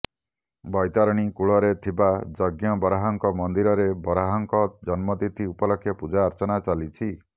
ବୌତରଣୀ କୂଳରେ ଥିବା ଜଜ୍ଞ ବରାହଙ୍କ ମନ୍ଦିରରେ ବରାହଙ୍କ ଜନ୍ମ ତିଥି ଉପଲକ୍ଷେ ପୂଜାର୍ଚ୍ଚନା ଚାଲିଛି